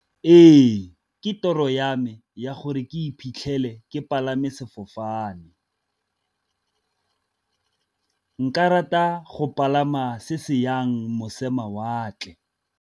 Ee, ke toro ya me ya gore ke iphitlhele ke palame sefofane, ka rata go palama se se yang mosemawatle.